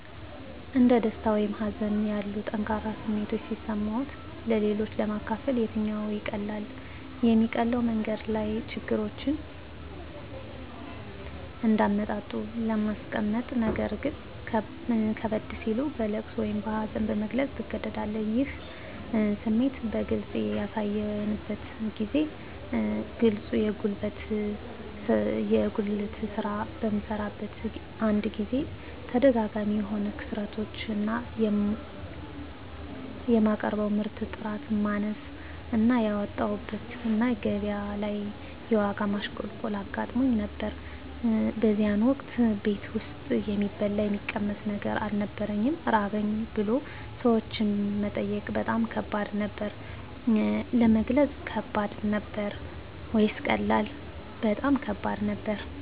እንደ ደስታ ወይም ሀዘን ያሉ ጠንካራ ስሜቶች ሲሰማዎት-ለሌሎች ለማካፈል የትኛው ይቀላል? የሚቀለው መንገድ ያሉ ችግሮችን እንደ አመጣጡ ለማስቀመጥነገር ግን ከበድ ሲል በለቅሶ እና በሀዘን ለመግለፅ ትገደዳለህ ይህን ስሜት በግልጽ ያሳዩበትን ጊዜ ግለጹ የጉልት ስራ በምሰራበት አንድ ጊዜ ተደጋጋሚ የሆኑ ክስረቶች እና የማቀርበው ምርት ጥራት ማነስ እና ያወጣሁበት እና ገቢያ ላይ የዋጋ ማሽቆልቆል አጋጥሞኝ ነበር በዚያን ወቅት ቤት ውስጥ የሚበላ የሚቀመስ ነገር አልነበረኝም ራበኝ ብሎ ሰዎችን መጠየቅ በጣም ከባድ ነበር። ለመግለጽ ከባድ ነበር ወይስ ቀላል? በጣም ከባድ ነበር